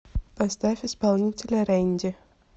поставь исполнителя рэнди